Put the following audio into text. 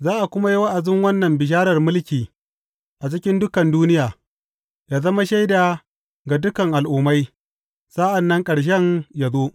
Za a kuma yi wa’azin wannan bisharar mulki a cikin dukan duniya, yă zama shaida ga dukan al’ummai, sa’an nan ƙarshen yă zo.